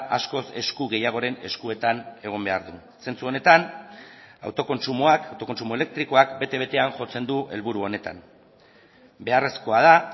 askoz esku gehiagoren eskuetan egon behar du zentzu honetan autokontsumoak autokontsumo elektrikoak bete betean jotzen du helburu honetan beharrezkoa da